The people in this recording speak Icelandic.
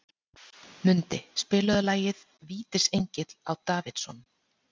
Mundi, spilaðu lagið „Vítisengill á Davidson“.